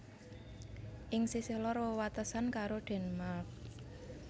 Ing sisih lor wewatesan karo Denmark